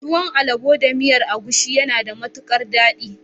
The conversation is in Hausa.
Tuwon alabo da miyar agusi yana da matukar dadi.